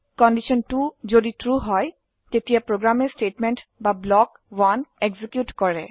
condition 2 যদি true হয় তেতিয়া প্ৰোগ্ৰামে স্টেটমেন্ট বা ব্লক 1 এক্সিকিউট কৰে